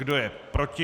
Kdo je proti?